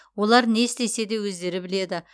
олар не істесе де өздері біледі